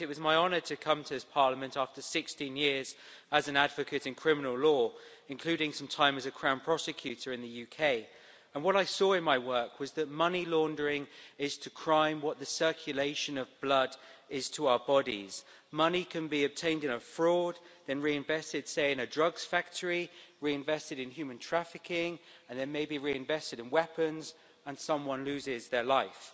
Madam President, it was my honour to come to this Parliament after 16 years as an advocate in criminal law, including some time as a Crown prosecutor in the UK. And what I saw in my work was that money laundering is to crime what the circulation of blood is to our bodies. Money can be obtained in a fraud, then reinvested, say, in a drugs factory, reinvested in human trafficking, and then maybe reinvested in weapons and someone loses their life.